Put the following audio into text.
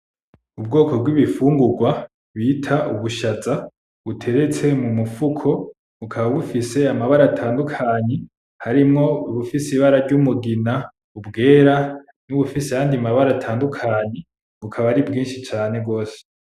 Ubwoko bwibifungurwa bita ubushaza buteretse mumufuko bukaba bufise amabara atandukanye harimwo ubufise ibara ry'umugina, ubwera n'ubufise ayandi mabara atandukanye bukaba ari bwinshi cane gose.